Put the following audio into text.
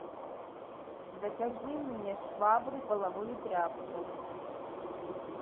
закажи мне швабру и половую тряпку